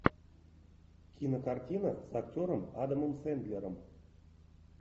кинокартина с актером адамом сэндлером